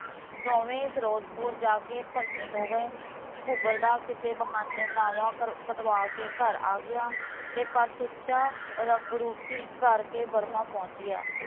ਦੋਵੇ ਫਿਰੋਜਪੁਰ ਜਾ ਕੇ ਭਰਤੀ ਹੋ ਗਏ ਘੂਗਰ ਦਾ ਕਿਸੇ ਬਹਾਨੇ ਨਾਵਾਂ ਕਟਵਾ ਕੇ ਘਰ ਆ ਗਿਆ, ਤੇ ਪਰ ਸੁੱਚਾ ਰੰਗਰੁਟੀ ਕਰਕੇ ਬਰਮਾ ਪਹੁੰਚ ਗਿਆ